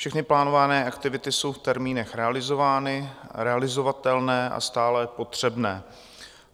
Všechny plánované aktivity jsou v termínech realizovány, realizovatelné a stále potřebné.